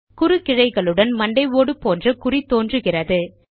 குறுக்கிழைகளுடன் மண்டை ஓடு போன்ற குறி தோன்றுகிறது